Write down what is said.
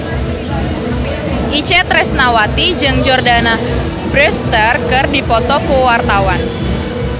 Itje Tresnawati jeung Jordana Brewster keur dipoto ku wartawan